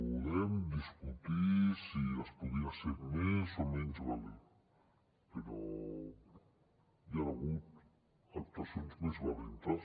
podem discutir si es podia ser més o menys valent però hi han hagut actuacions més valentes